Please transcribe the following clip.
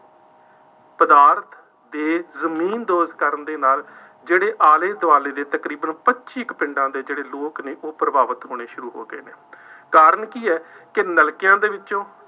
ਪਦਾਰਥ ਦੇ ਜ਼ਮੀਨਦੋਜ਼ ਕਰਨ ਦੇ ਨਾਲ ਜਿਹੜੇ ਆਲੇ ਦੁਆਲੇ ਦੇ ਤਕਰੀਬਨ ਪੱਚੀ ਕੁ ਪਿੰਡਾਂ ਦੇ ਜਿਹੜੇ ਲੋਕ ਨੇ, ਉਹ ਪ੍ਰਭਾਵਿਤ ਹੋਣੇ ਸ਼ੁਰੂ ਹੋ ਗਏ ਨੇ, ਕਾਰਨ ਕੀ ਹੈ, ਕਿ ਨਲਕਿਆਂ ਦੇ ਵਿੱਚੋਂ